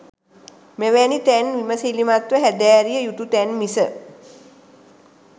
මෙවැනි තැන් විමැසිලිමත් ව හැදෑරිය යුතු තැන් මිස